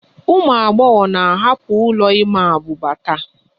Ụmụ agbọghọ na-ahapụ ụlọ ịma abuba taa